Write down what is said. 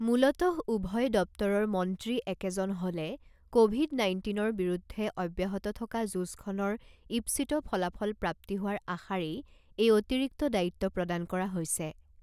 মূলতঃ উভয় দপ্তৰৰ মন্ত্ৰী একেজন হ'লে ক'ভিড নাইণ্টিনৰ বিৰুদ্ধে অব্যাহত থকা যুঁজখনত ঈপ্সিত ফলাফল প্ৰাপ্তি হোৱাৰ আশাৰেই এই অতিৰিক্তি দায়িত্ব প্ৰদান কৰা হৈছে।